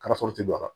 Karaforo tɛ don a la